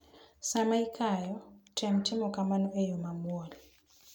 Sama ikayo, tem timo kamano e yo mamuol.